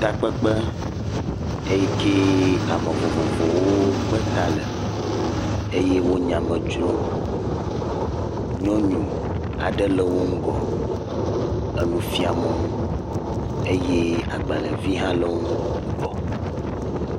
Takpekpe yi ke ame vovovowo kpe ta le eye wole nyame dzrom, nyɔnu aɖe le wo ŋgɔ, enu fiam wo eye agbalẽvi aɖe le wo ŋgɔ.